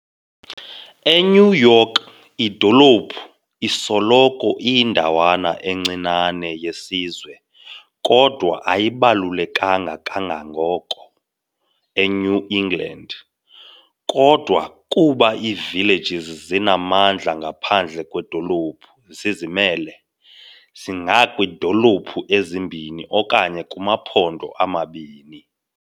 E-New York, idolophu isoloko iyindawana encinane yesizwe, kodwa ayibalulekanga kangako eNew England. Kodwa, kuba iivillages zinamandla ngaphandle kweedolophu, zizimele, zingakwiidolophu ezimbini okanye kumaphondo amabini.